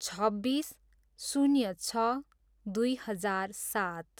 छब्बिस, शून्य छ, दुई हजार सात